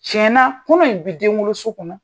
Tiyɛn na kɔnɔ in bi denwoloso kɔnɔ.